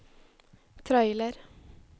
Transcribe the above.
trailer